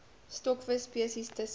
stokvis spesies tussen